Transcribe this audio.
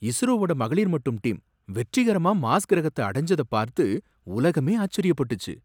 இஸ்ரோவோட மகளிர் மட்டும் டீம் வெற்றிகரமா மார்ஸ் கிரகத்த அடஞ்சதப் பார்த்து உலகமே ஆச்சரியப்பட்டுச்சு.